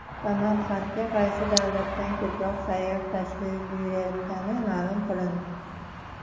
Samarqandga qaysi davlatdan ko‘proq sayyoh tashrif buyurayotgani ma’lum qilindi.